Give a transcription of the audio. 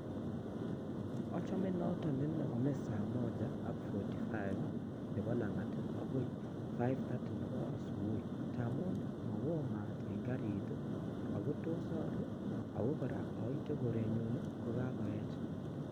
Achomen noto nenome saa moja ak fouty five nepo lang'at akoi five thirty nepo 'asubuhi' ngamun ii mao mat en karit ii ako tos aruu ako ,kora ndoite korenyun kokakoech.